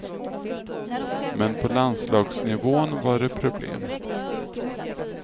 Men på landslagsnivån var det problem.